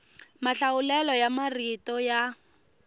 mahlawulelo ya marito ya